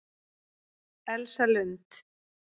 Elsa Lund